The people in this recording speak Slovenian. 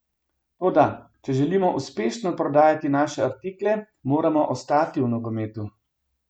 Toda če želimo uspešno prodajati naše artikle, moramo ostati v nogometu.